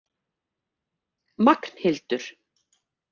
Magnhildur